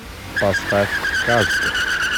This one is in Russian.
поставь казка